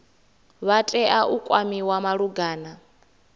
vha tea u kwamiwa malugana